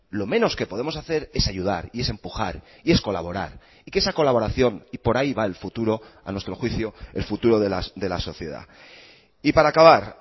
lo menos que podemos hacer es ayudar y es empujar y es colaborar y que esa colaboración y por ahí va el futuro a nuestro juicio el futuro de la sociedad y para acabar